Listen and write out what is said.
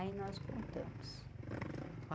Aí nós contamos.